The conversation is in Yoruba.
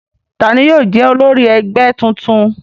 Ta ni yóò jẹ́ olórí ẹgbẹ́ tuntun?